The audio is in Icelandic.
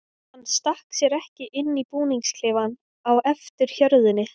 Hann stakk sér ekki inn í búningsklefann á eftir hjörðinni.